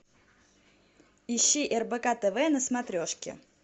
ищи рбк тв на смотрешке